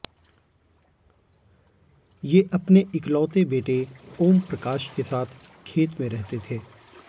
ये अपने इकलौते बेटे ओमप्रकाश के साथ खेत में रहते थे